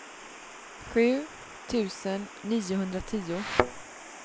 sju tusen niohundratio